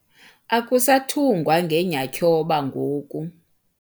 Akusathungwa ngenyatyhoba ngoku.